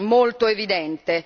molto evidente.